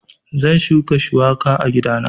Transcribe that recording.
Zan shuka shuwaka a gidana